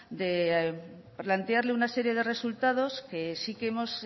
de plantearle una serie de resultados que sí que hemos